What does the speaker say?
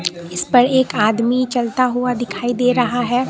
इस पर एक आदमी चलता हुआ दिखाई दे रहा है।